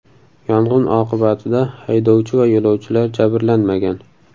Yong‘in oqibatida haydovchi va yo‘lovchilar jabrlanmagan.